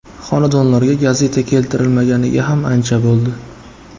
Xonadonlarga gazeta keltirilmaganiga ham ancha bo‘ldi.